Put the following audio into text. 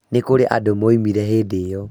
Nĩkũrĩ andũ momĩrire hĩndĩ ĩyo